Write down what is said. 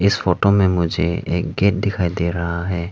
इस फोटो में मुझे एक गेट दिखाई दे रहा है।